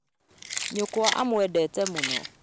Nyũkwa aamwendete mũno